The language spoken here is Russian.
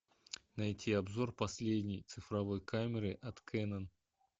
найти обзор последней цифровой камеры от кеннон